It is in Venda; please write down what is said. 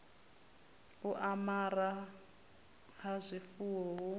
u amara ha zwifuwo hu